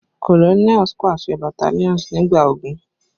Colonels paṣẹ battalions nigba ogun